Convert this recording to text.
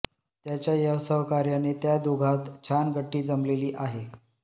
त्याच्या या सहकार्याने त्या दोघांत छान गट्टी जमलेली आहे